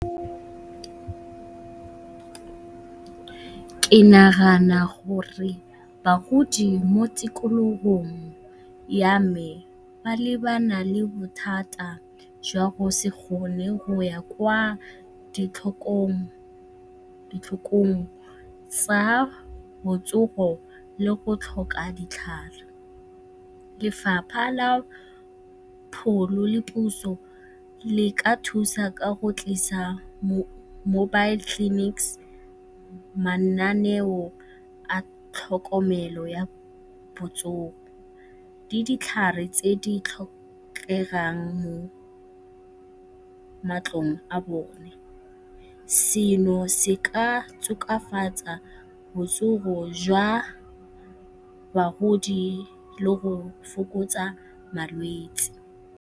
Ke nagana gore bagodi mo tikologong ya me ba lebana le bothata jwa go se kgone go ya kwa ditlhokong tsa botsogo le go tlhoka ditlhare. Lefapha la pholo le puso le ka thusa ka go tlisa mobile clinics, mananeo a tlhokomelo ya botsogo le dihlare tse di tlhokegang mo matlong a bone. Se se ka tokafatsa botsogo jwa bagodi le go fokotsa malwetse.